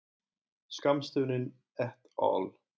Skammstöfunin et al.